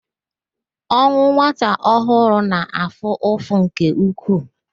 Ọnwụ nwata ọhụrụ na-afụ ụfụ nke ukwuu